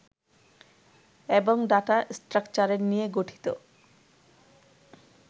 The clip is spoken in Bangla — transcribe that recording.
এবং ডাটা স্ট্রাকচারের নিয়ে গঠিত